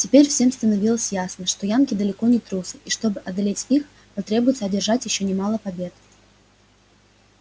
теперь всем становилось ясно что янки далеко не трусы и чтобы одолеть их потребуется одержать ещё немало побед